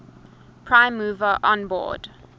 prime mover onboard